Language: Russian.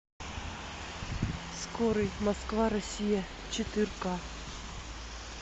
скорый москва россия четырка